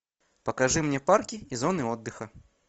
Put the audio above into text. покажи мне парки и зоны отдыха